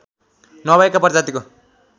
नभएका प्रजातिको